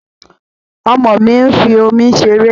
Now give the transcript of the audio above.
Ọmọ mi ń fi omi ṣeré